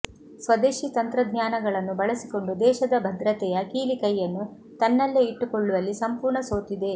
ಸ್ವದೇಶಿ ತಂತ್ರಜ್ಞಾನಗಳನ್ನು ಬಳಸಿಕೊಂಡು ದೇಶದ ಭದ್ರತೆಯ ಕೀಲಿಕೈಯನ್ನು ತನ್ನಲ್ಲೇ ಇಟ್ಟುಕೊಳ್ಳುವಲ್ಲಿ ಸಂಪೂರ್ಣ ಸೋತಿದೆ